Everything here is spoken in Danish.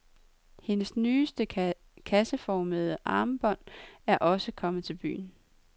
Hendes nyeste kasseformede armbånd er også kommet til byen.